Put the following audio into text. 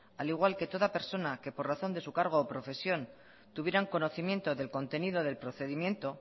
al igual que toda persona que por razón de su cargo o profesión tuvieran conocimiento del contenido del procedimiento